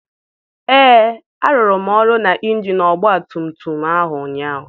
Ee, arụrụ m ọrụ na injin ọgba tum tum ahụ ụnyaahụ.